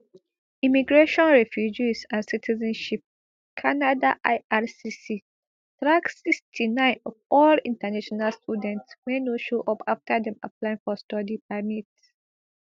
immigration refugees and citizenship canada ircc track sixty-nine of all international students wey no show up afta dem apply for study permit